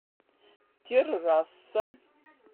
террасса